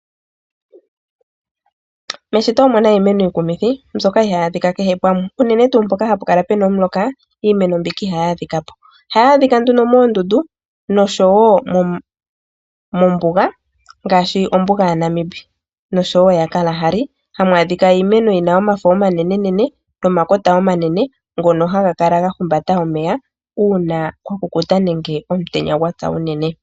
Meshito omuna iimeno iikumithi mbyoka ihaayi adhika kehe pamwe unene tuu mpoka hapu kala puna omuloka iimeno mbika ihayi adhika po. Ohayi adhika nduno moondundu nosho wo mombuga ngaashi ombuga yaNamib nosho wo yaKarahari, hamu adhika iimeno yina omafo omanenenene nomakota omanene ngono haga kala gahumbata omeya uuna kwakukuta nenge omutenya gwapya unene.